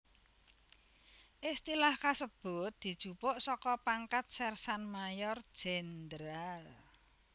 Istilah kasebut dijupuk saka pangkat Sersan Mayor Jènderal